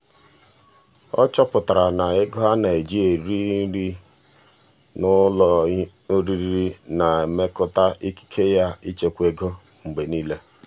ọ chọpụtara na ego a na-eji eri ihe n'ụlọ oriri na-emetụta ikike ya ịchekwa ego mgbe niile.